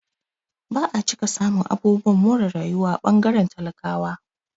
Ba'a cika samun abubuwan more rayuwa a ɓangaren talakawa